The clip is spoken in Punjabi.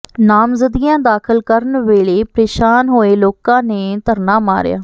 ਨਾਮਜ਼ਦਗੀਆਂ ਦਾਖ਼ਲ ਕਰਨ ਵੇਲੇ ਪ੍ਰੇਸ਼ਾਨ ਹੋਏ ਲੋਕਾਂ ਨੇ ਧਰਨਾ ਮਾਰਿਆ